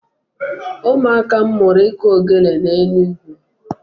Ụmụaka m mụrụ iku ogele n'Enugwu.